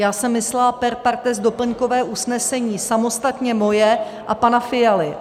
Já jsem myslela per partes doplňkové usnesení samostatně moje a pana Fialy.